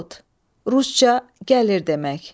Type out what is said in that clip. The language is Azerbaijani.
İdiot, rusca gəlir demək.